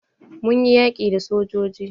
Mun yi yaƙi da sojoji.